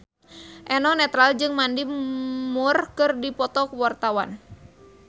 Eno Netral jeung Mandy Moore keur dipoto ku wartawan